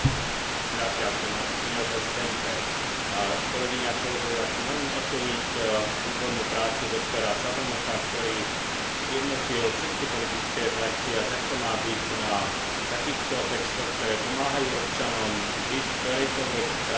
Chcem veľmi oceniť výbornú prácu doktora Cabrnocha, ktorý zjednotil všetky politické frakcie, a tak to má byť, na takýchto textoch, ktoré pomáhajú občanom žiť v ktorejkoľvek krajine Európskej únie, pracovať tam a byť sociálne zabezpečený.